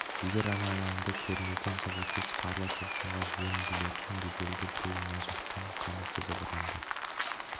егер ана алаңды кернеген қызылкөз қарлы толқынға жөн білетін беделді біреу мына жақтан қаны қызып ұрандап